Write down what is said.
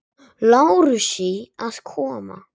Lárusi að koma.